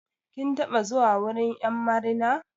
Kin taɓa zuwa wurin 'yan marina.